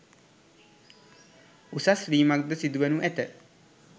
උසස් වීමක් ද සිදු වනු ඇත